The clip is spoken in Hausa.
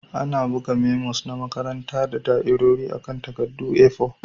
Ana buga memos na makaranta da da'irori akan takaddun A4.